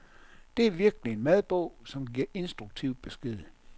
Det er virkelig en madbog, som giver instruktiv besked.